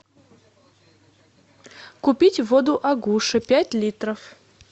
купить воду агуша пять литров